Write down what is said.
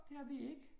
Det har vi ikke